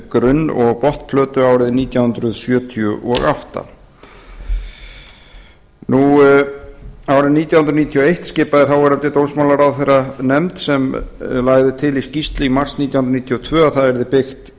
grunn og botnplötu árið nítján hundruð sjötíu og átta árið nítján hundruð níutíu og eitt skipaði þáverandi dómsmálaráðherra nefnd sem lagði til í skýrslu í mars nítján hundruð níutíu og tvö að byggt